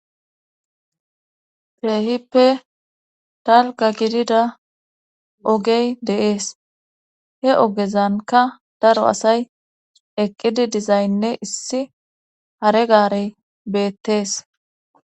Keehippe dalga gidida ogey deees he ogezanka daro asay eqqidi dizaynne issi hare gaarey beettees